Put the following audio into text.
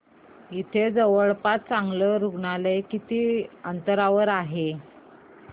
इथे जवळपास चांगलं रुग्णालय किती अंतरावर आहे